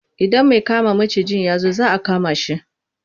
Idan mai kama macijin ya zo za a kama shi.